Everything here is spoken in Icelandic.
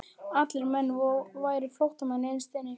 Allir menn væru flóttamenn innst inni.